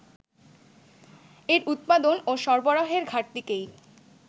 এর উৎপাদন ও সরবরাহের ঘাটতিকেই